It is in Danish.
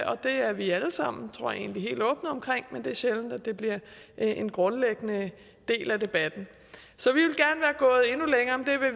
og det er vi alle sammen tror jeg egentlig helt åbne omkring men det er sjældent at det bliver en grundlæggende del af debatten så